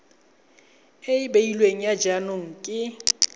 e beilweng ya jaanong ke